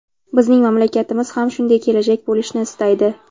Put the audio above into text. Bizning mamlakatimiz ham shunday kelajak bo‘lishini istaydi.